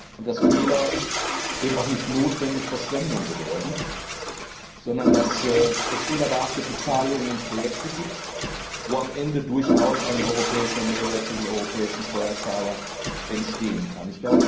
und dass Fehler auch nicht notwendigerweise Verschwendung bedeuten, sondern dass es fehlerbehaftete Zahlungen und Projekte gibt, bei denen am Ende durchaus ein europäischer Mehrwert für den europäischen Steuerzahler entstehen kann.